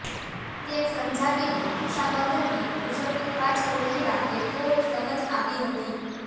તેમ સમજાવીને રક્ષાબંધની ઉજવણી પાછળ રહેલા હેતુઓની સમજ આપી હતી